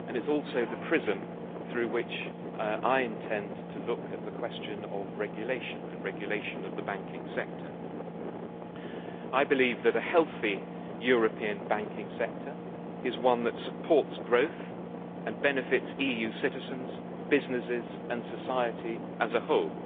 and it is also the prism through which I intend to look at the question of regulation and regulation of the banking sector. I believe that a healthy European banking sector is one that supports growth and benefits EU citizens, businesses and society as a whole.